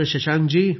Shashank ji